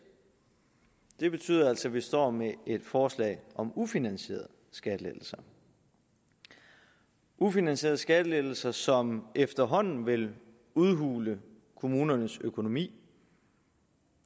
det betyder altså at vi står med et forslag om ufinansierede skattelettelser ufinansierede skattelettelser som efterhånden vil udhule kommunernes økonomi